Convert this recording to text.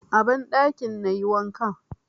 A banɗakin na yi wankan.